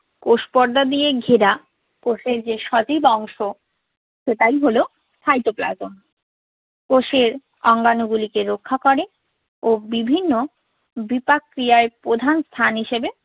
কোষপর্দা দিয়া ঘেরা কোষের যে সজীব অংশ সেটাই হলো cytoplasm কোষের অঙ্গাণুগুলিকে রক্ষা করে ও বিভিন্ন বিপাক ক্রিয়ায় প্রধান স্থান হিসাবে